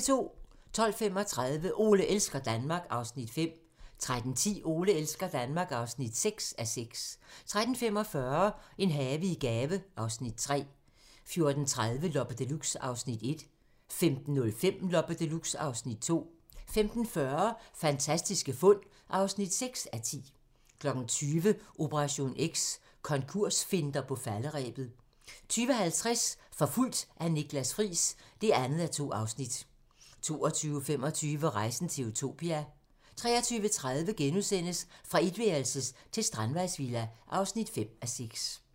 12:35: Ole elsker Danmark (5:6) 13:10: Ole elsker Danmark (6:6) 13:45: En have i gave (Afs. 3) 14:30: Loppe Deluxe (Afs. 1) 15:05: Loppe Deluxe (Afs. 2) 15:40: Fantastiske fund (6:10) 20:00: Operation X: Konkursfinter på falderebet 20:50: Forfulgt af Niklas Friis (2:2) 22:25: Rejsen til Utopia 23:30: Fra etværelses til strandvejsvilla (5:6)*